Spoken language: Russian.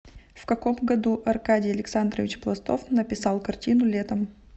в каком году аркадий александрович пластов написал картину летом